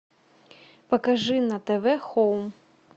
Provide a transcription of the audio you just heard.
покажи на тв хоум